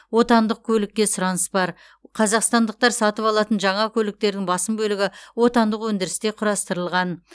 отандық көлікке сұраныс бар қазақстандықтар сатып алатын жаңа көліктердің басым бөлігі отандық өндірісте құрастырылған